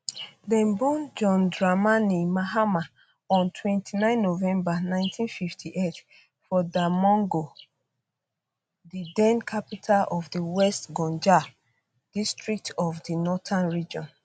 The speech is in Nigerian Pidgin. dem born john dramani mahama on 29 um november 1958 for damongo di den capital of di west gonja um district of di northern region